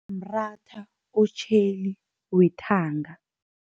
Mratha otjheli wethanga.